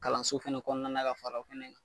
Kalanso fana kɔnɔna ka fara o fana kan